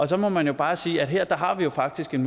så må man jo bare sige at her har vi faktisk en